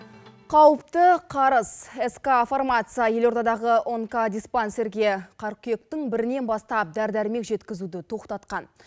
қауіпті қарыз ск фармация елордадағы онкодиспансерге қырқүйектің бірінен бастап дәрі дәрмек жеткізуді тоқтатқан